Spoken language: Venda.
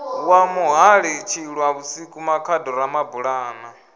wa muhali tshilwavhusiku makhado ramabulana